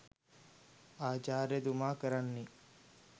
ආචාර්යතුමා කරන්නේ